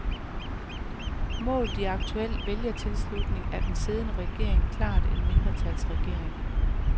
Målt i aktuel vælgertilslutning er den siddende regering klart en mindretalsregering.